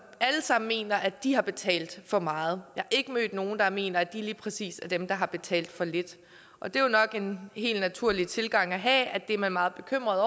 alle sammen mener at de har betalt for meget jeg ikke mødt nogen der mener at de lige præcis er dem der har betalt for lidt og det er jo nok en helt naturlig tilgang at have at det er man meget bekymret